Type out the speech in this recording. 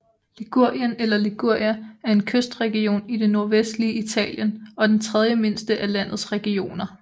Ligurien eller Liguria er en kystregion i det nordvestlige Italien og den tredjemindste af landets regioner